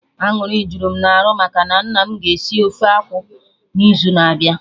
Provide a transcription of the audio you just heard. Aṅụrị jụrụ m arụ maka na nna mụ ga esi ofe akwụ n'izu na-abịa